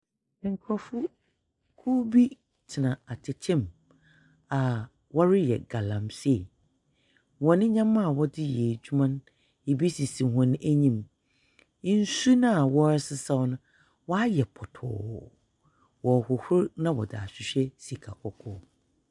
Nkrɔfokuw bi gyina atɛkyɛ mu a wɔreyɛ galamsee. Wɔn nyɛma a wɔde adwuma no, ebi sisi wɔn enyim. Nsu no a wɔresesaw no, ɔayɛ pɔtɔɔ. Wɔrehohor na wɔdze ahwehwɛ sika kɔkɔɔ.